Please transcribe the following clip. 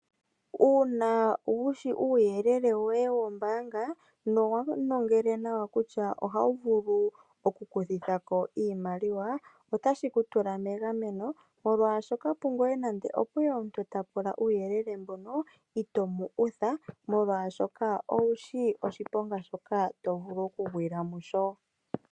Uuna wushi uuyelele woye wombaanga nowanongele nawa kutya oha wuvulu oku kuthako iimaliwa otashi kutula megameno molwaashoka pongoye nande opweya omuntu tapula uuyelele mbono ito mu utha molwashoka owushi oshiponga shoka tovulu okugwila musho.